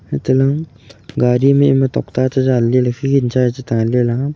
anto ley gari ma topta chadan ley ley fian cha che ngan chela.